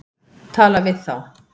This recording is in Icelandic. Tala við þá.